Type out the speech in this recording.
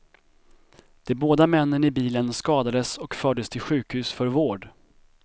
De båda männen i bilen skadades och fördes till sjukhus för vård.